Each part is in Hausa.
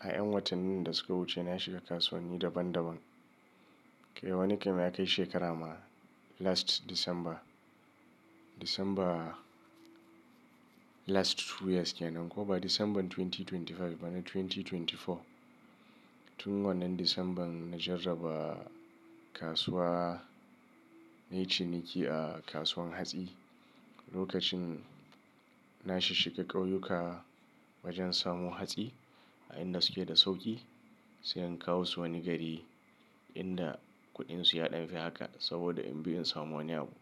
a en watannin da suka wuce na shiga kasuwanni daban daban. Kai wani kai ma ya kai shekara ma last December. December last two years kenan, ko ba December dubu biyu da ashirin da biyar ba, na dubu biyu da ashirin da huɗu. Tun wannan December na jarraba kasuwa, nayi ciniki a kasuwan hatsi. Lokacin na shishshiga ƙauyuka wajen samo hatsi, a inda suke da sauki, sai in kawo su wani gari inda kuɗin su ya ɗan fi haka, saboda in bi in samu wani abu.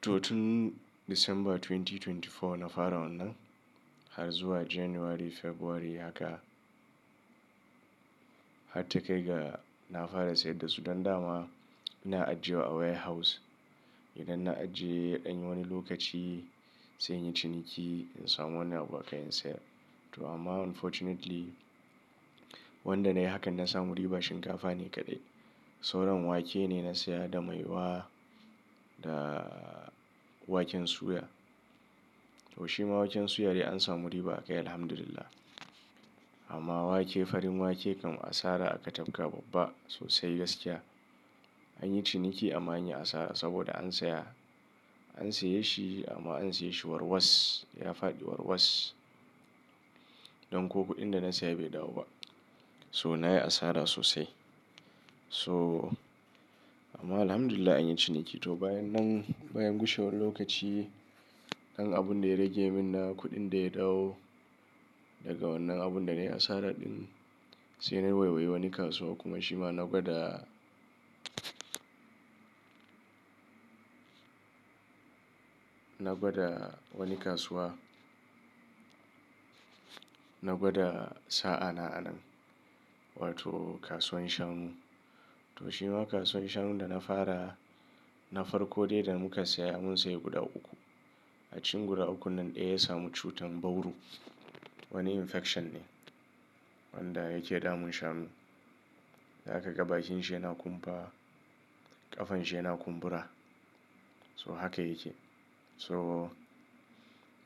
To, tun December dubu biyu da ashirin da huɗu na fara wannan, har zuwa January, February haka, har ta kai ga na fara sayar dasu. Dan dama, ina ajiyewa a warehouse. Idan na ajiye, in yi wani lokaci sai in yi ciniki in samu wani abu akai in sayar. To amma, unfortunately wanda na yi hakan na samu riba shinkafa ne kaɗai. Sauran wake ne na saya da maiwa, da waken suya. To shima waken suya de an samu riba akai, Alhamdulillah. Amma wake farin wake kam asara aka tatka babba sosai gaskiya. An yi ciniki amma anyi asara, saboda an saya, an saye shi amma an siye shi warwas. Ya faɗi warwas don ko kuɗin da na saya bai dawo ba. So nayi asara sosai. So, amma Alhamdulillah anyi ciniki. To bayan nan, bayan gushewan lokaci, ɗan abun da ya rage min na kuɗin da ya dawo, daga wannan abun da na yi asara ɗin, sai na nemi wani kasuwa kuma shima na gwada, na gwada wani kasuwa. Na gwada sa'a na a nan, wato kasuwan shanu. To shima kasuwan shanun da na fara, na farko dai da muka saya, mun saya guda uku. A cikin guda ukun nan, ɗaya ya samu cutan bauru. Wani infection ne wanda yake damun shanu. A ka ga bakin shi yana kumfa, ƙafan shi yana kumbura. So haka yake. So,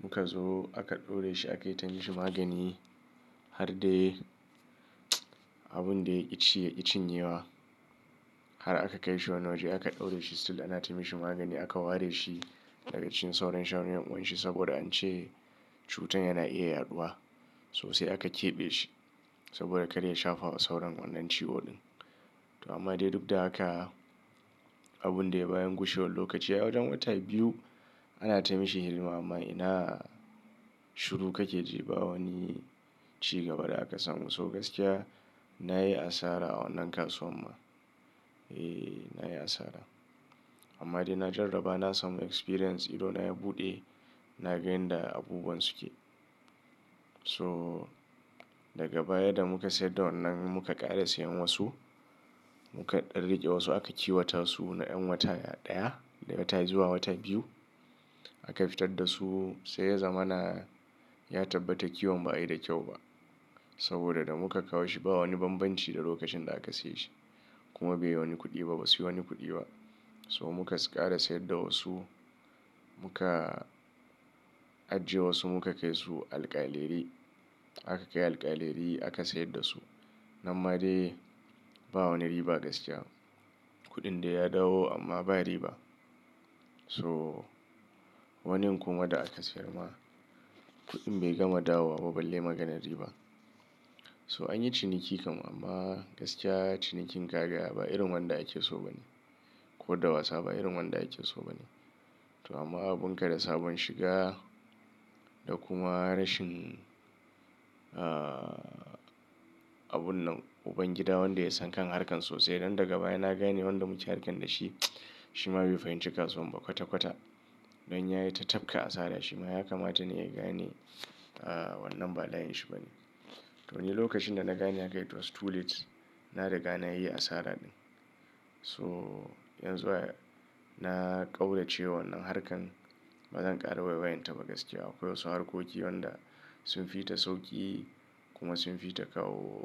muka zo aka ɗaure shi aka yi ta mishi magani har dai abun da yaki ci yaki cinyewa. Har aka kai shi wani waje aka ɗaure shi. Still ana tamishi magani aka ware shi daga cikin sauran shanun, yawanci saboda an ce cutan yana iya yaɗuwa. Sosai aka keɓe shi saboda karya shafa wa sauran wannan ciwo ɗin. To amma dai duk da haka, abun da bayan gushe wan lokaci, wajen wata biyu ana ta mishi hiɗima amma ina shiru kake jefa wani cigaba da aka samu. So gaskiya nayi asara a wannan kasuwan ma. Eh nayi asara. Amma dai na jarraba na samu experience, idan na yi buɗe, na gane da abubuwan suke. So daga baya da muka sayar da wannan muka ƙara siyan wasu. Muka ɗan riƙe wasu aka kiwata su na yan wata ɗaya da wata zuwa wata biyu. Aka fitar da su sai ya zamana ya tabbata kiwon ba'ayi da kyau ba saboda, da muka kawo shi ba wani banbanci da lokacin da aka siye shi, kuma bai wani kuɗi ba, ba su yi wani kuɗi ba. So muka ƙara sayar da wasu. Muka ajiye wasu, muka kai su alƙaleri. Aka kai alƙaleri aka sayar da su. Nan ma dai ba wani riba gaskiya. Kuɗin da ya dawo amma ba riba. So wanin kuma da aka sayar ma, kuɗin bai gama dawo ba balle maganar riba. So, anyi ciniki kam amma gaskiya, cinikin gaga ba irin wanda ake so ba ne. Ko da wasa ba irin wanda ake so ba ne. To, amma abun ka da sabon shiga da kuma rashin, abun nan ubangida wanda ya san kan harkan sosai. Don daga baya na gane wanda muke harkan da shi, shima bai fahimci kasuwan ba kwata kwata don ya yi ta tafka asara shima ya kamata ne ya gane, wannan ba layin shi ba ne. To ni lokacin da na gane de, it was too late. Na riga na yi asara ɗin. So yanzu na ƙaurace wannan harkan, bazan ƙara waiwayinta ba gaskiya. Akwai wasu harkoki wanda, sun fi ta sauƙi, kuma sun fi ta kawo.